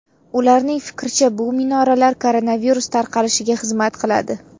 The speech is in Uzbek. Ularning fikricha, bu minoralar koronavirus tarqalishiga xizmat qiladi.